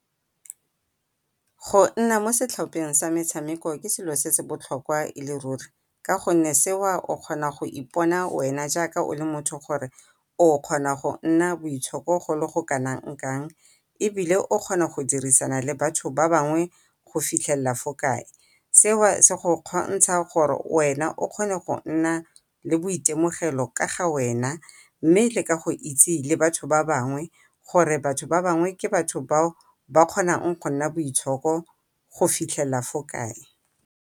Go nna mo setlhopheng sa metshameko ke selo se se botlhokwa e le ruri, ka gonne seo o kgona go ipona wena jaaka o le motho gore o kgona go nna boitshoko go le go kanang kang. Ebile o kgona go dirisana le batho ba bangwe go fitlhelela fo kae, seo se go kgontsha gore wena o kgone go nna le boitemogelo ka ga wena. Mme le ka go itse le batho ba bangwe, gore batho ba bangwe ke batho bao ba kgonang go nna boitshoko go fitlhelela fo kae.